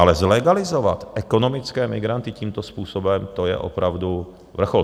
Ale zlegalizovat ekonomické migranty tímto způsobem, to je opravdu vrchol.